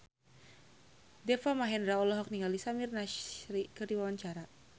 Deva Mahendra olohok ningali Samir Nasri keur diwawancara